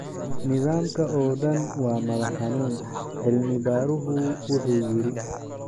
Nidaamka oo dhan waa madax xanuun, cilmi-baaruhu wuxuu yiri.